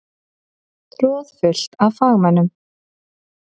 Troðfullt af fagmönnum.